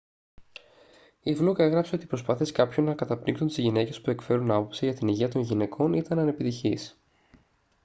η φλουκ έγραψε ότι οι προσπάθειες κάποιων να καταπνίξουν τις γυναίκες που εκφέρουν άποψη για την υγεία των γυναικών ήταν ανεπιτυχείς